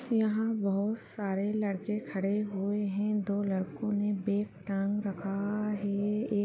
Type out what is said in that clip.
यहाँ बहुत सरे लड़के खड़े हुए हैं दो लड़को ने बैग टांग रखा है एक --